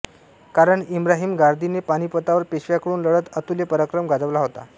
कारण इब्राहिम गारदीने पानिपतावर पेशव्यांकडून लढत अतुल्य पराक्रम गाजवला होता